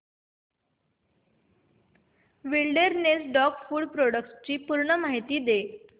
wilderness dog food products ची पूर्ण माहिती दे